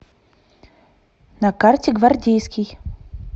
на карте гвардейский